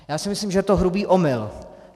Já si myslím, že to je hrubý omyl.